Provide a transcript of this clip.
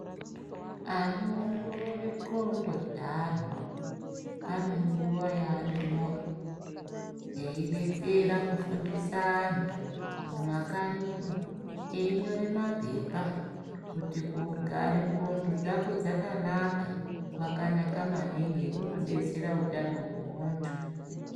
Anoongorore ndxondo dzeantu ane nguwa yeanomouya ,eidetsera kufundisa antu mumakanyimo, einyore maphepha kuti kugare ndxondo dzako dzakanaka kwakanaka maningi, kunodetsera utano hwemuntu .